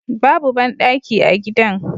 Babu bandaki a gidan